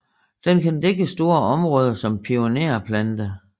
Den kan dække store områder som pionerplante